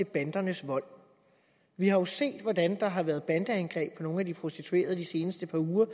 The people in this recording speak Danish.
bandernes vold vi har jo set hvordan der har været bandeangreb på nogle af de prostituerede de seneste par uger